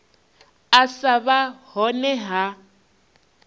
u sa vha hone ha